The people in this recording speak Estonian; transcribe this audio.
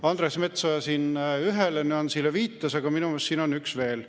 Andres Metsoja ühele nüansile viitas, aga minu meelest siin on üks veel.